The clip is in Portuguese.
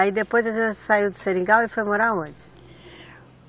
Aí depois a senhora saiu do seringal e foi morar aonde?